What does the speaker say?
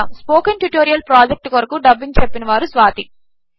స్పోకెన్ట్యుటోరియల్ప్రాజెక్ట్కొరకుడబ్బింగ్చెప్పినవారుస్వాతి